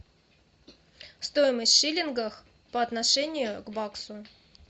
стоимость в шиллингах по отношению к баксу